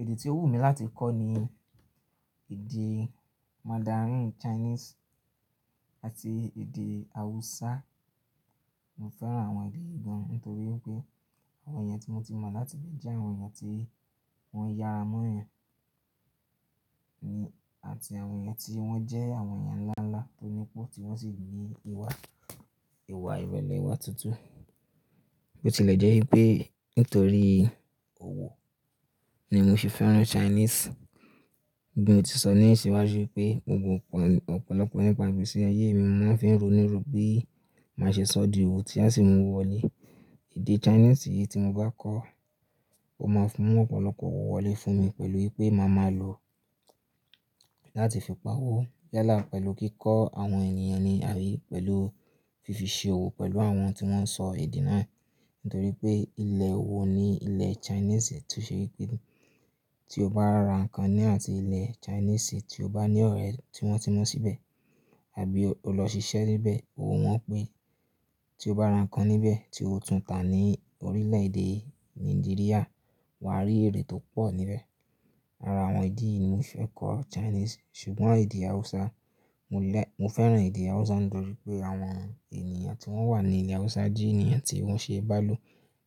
Èdè tí ó wù mí láti kọ́ ni èdè Mandarin Chinese àti èdè Hausa. Mo fẹ́ràn àwọn èdè ìgọ́n nítorí pé àwọn èyàn tí mo ti mọ̀ láti ibi jẹ́ àwọn èyàn tí wọ́n yára mọ́ èèyàn ní àti àwọn èyàn tí wọ́n jẹ́ àwọn èyàn ńláńlá tó nípó tí wọ́n sì ní ìwà, ìwà ìrẹ̀lẹ̀ ìwà tutu. Ó ti lẹ̀ jẹ́ wípé nítorí ni mo ṣe fẹ́ràn Chinese. Gẹ́gẹ́ bí mo ti sọ leyin siwájú wípé mo mọ ọ̀pọ̀lọpọ̀ ẹni nipa igbese ayé mi, mo máa ń fi ń ro nírò bí màá ṣe sọ di òwò tí a sì mú wọlé. Èdè Chinese yìí tí mo bá kọ́, ó máa mú ọ̀pọ̀lọpọ̀ òwò wọlé fún mi pẹ̀lú wípé màá máa lò ó láti fi pá owó yálà pẹ̀lú kíkọ́ àwọn ènìyàn ni àbí pẹ̀lú fífi ṣe òwò pẹ̀lú àwọn tí wọ́n ń sọ èdè náà. Nítorí pé ilẹ̀ òwò ni ilẹ̀ Chinese tó ṣe wípé tí o bá ra ǹkan ní àti ilẹ̀ Chinese tí o bá ní ọ̀rẹ́ tí wọ́n ti mọ síbẹ̀ àbí o lọ ṣiṣẹ́ níbẹ̀, owo won pé tí o bá ra ǹkan níbẹ̀ tí ó tún tà ní orílẹ̀ èdè Nàìjíríà, wà á rí èrè tó pọ̀ níbẹ̀. Ara àwọn idi yìí ni mo fẹ́ kọ́ Chinese ṣùgbọ́n èdè Hausa. Mo lẹ̀, mo fẹ́ràn èdè Hausa nítorí pé àwọn ènìyàn tí wọ́n wà ní ilẹ̀ Hausa jẹ́ ènìyàn tí wọ́n ṣe é bá lò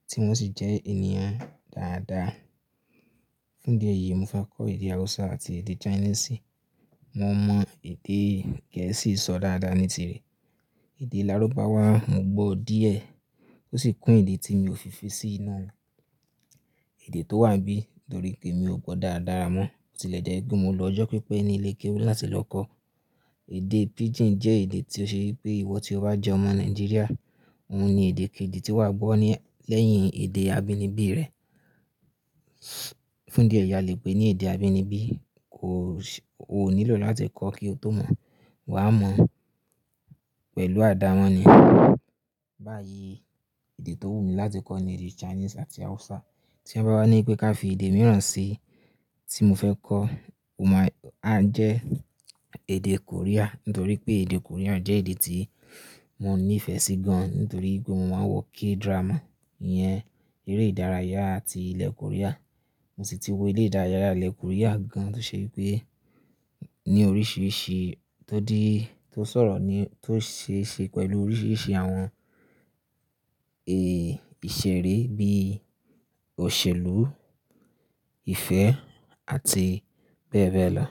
tí wọ́n sì jẹ́ ènìyàn dáadáa. Fún dí eyìí mo fẹ́ kọ́ èdè Hausa àti èdè Chinese. Mo mọ èdè Gẹ̀ẹ́sì sọ dáadáa nítirẹ̀. Èdè Lárúbáwá mo gbọ́ díẹ̀ ó sì kún idi tí mi ò fi fi sí inu Èdè tó wà n bí nítorí pé mi ò gbọ́ daradára mọ́. Bo ti lẹ́jẹ̀ẹ́ wipé mo lọ ọjọ́ pípẹ́ ní ilé kéwú láti lọ kọ́. Èdè Pidgin jẹ́ èdè tí ó ṣe wípé ìwọ tí o bá jẹ́ ọmọ Nàìjíríà, òun ni èdè kejì tí wà á gbọ́ ni leyìn èdè abínibí rẹ. Fún dí eyi a lè pé ní èdè abínibí kò ṣ o ò nílò láti kọ́ kí o tó mọ̀. Wà á mọ̀ pẹ̀lú àdámọ́ ni. Báyìí èdè tó wù mí láti kọ́ ni èdè Chinese àti Hausa. Tí wọ́n bá wá ní pé ká fi èdè mìíràn sí tí mo fẹ́ kọ́, ó máa ń jẹ́ èdè Korea. Nítorí pé èdè Korean jẹ́ èdè tí mo ní ìfẹ́ sí gan. Nítorí pé mo máa ń wo K-drama, ìyẹn eré ìdárayá ti ilẹ̀ Korea. Mo sì ti wo eré ìdárayá ilẹ̀ Korea gan tó ṣe wípé ní oríṣiríṣi tó dií tó sọ̀rọ̀ ni tó ṣe ṣe pẹ̀lú oríṣiríṣi àwọn èè ìṣeré bí i òṣèlú, ìfẹ́ àti bẹ́ẹ̀ bẹ́ẹ̀ lọ.